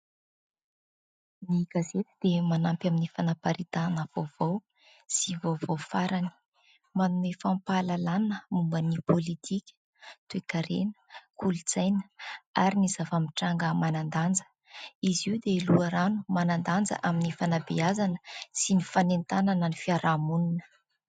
Ny gazety dia manampy amin'ny fanaparitahana vaovao sy vaovao farany. Manome fampahalalàna momba ny politika, toekarena, kolontsaina ary ny zava-mitranga manan-danja. Izy io dia loharano manan-danja amin'ny fanabeazana sy ny fanentanana ny fiarahamonina.